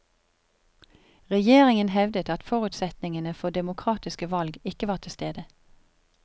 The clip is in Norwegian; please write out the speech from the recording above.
Regjeringen hevdet at forutsetningene for demokratiske valg ikke var tilstede.